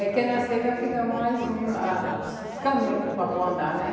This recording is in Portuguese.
É que na seca fica mais ruim a os os caminhos para o vapor andar, né?